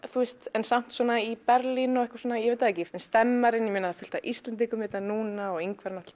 en samt svona í Berlín ég veit það ekki stemmarinn það er fullt af Íslendingum hérna núna og Ingvar